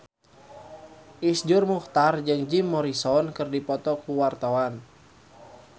Iszur Muchtar jeung Jim Morrison keur dipoto ku wartawan